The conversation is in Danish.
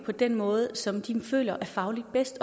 på den måde som de nu føler er fagligt bedst